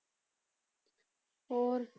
ਹੋਰ।